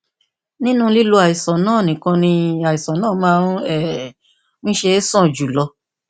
nínú lílo àìsàn náà nìkan ni àìsàn náà máa um ń ṣe é sàn jù lọ